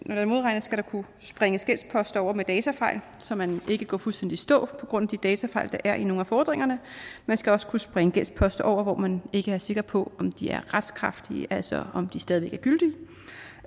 når der modregnes skal der kunne springes gældsposter over med datafejl så man ikke går fuldstændig i stå på grund af de datafejl der er i nogle af fordringerne man skal også kunne springe gældsposter over hvor man ikke er sikker på om de er retskraftige altså om de stadig væk